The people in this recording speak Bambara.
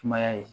Sumaya ye